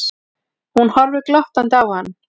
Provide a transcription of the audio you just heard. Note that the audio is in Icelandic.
Hún horfir glottandi á hann.